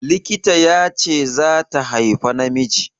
Likita ya ce zata haifa namiji.